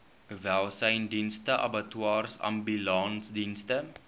welsynsdienste abattoirs ambulansdienste